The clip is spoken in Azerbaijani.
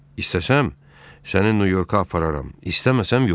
İstəsəm, səni Nyu-Yorka apararam, istəməsəm yox.